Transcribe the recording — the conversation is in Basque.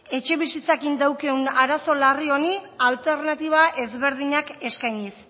etxebizitzakin daukaun arazo larri honi alternatiba ezberdinak eskainiz